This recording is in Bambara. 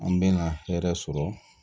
An bɛ na hɛrɛ sɔrɔ